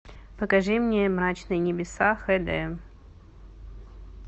покажи мне мрачные небеса хд